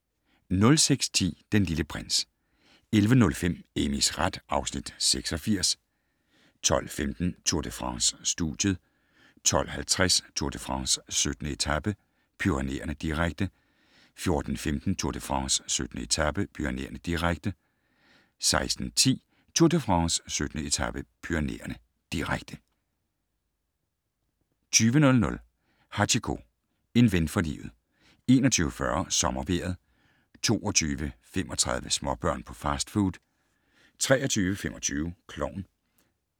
06:10: Den Lille Prins 11:05: Amys ret (Afs. 86) 12:15: Tour de France: Studiet 12:50: Tour de France: 17. etape - Pyrenæerne, direkte 14:15: Tour de France: 17. etape - Pyrenæerne, direkte 16:10: Tour de France: 17. etape - Pyrenæerne, direkte 20:00: Hachiko - en ven for livet 21:40: SommerVejret 22:35: Småbørn på fastfood 23:25: Klovn